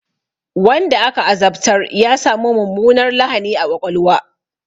Wanda aka azabtar ya sami mummunar lahani a ƙwaƙwalwa.